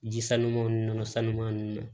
Ji sanuman ninnu nɔnɔ sanuya nun na